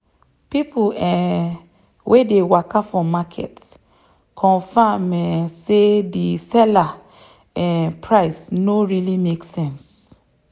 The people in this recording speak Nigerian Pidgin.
people um wey dey waka for market confirm um say the seller um price no really make sense.